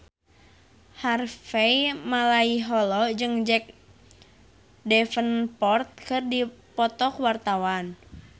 Harvey Malaiholo jeung Jack Davenport keur dipoto ku wartawan